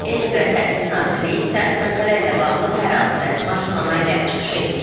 Elm və Təhsil Nazirliyi isə məsələ ilə bağlı hər hansı rəsmi açıqlama ilə çıxış etməyib.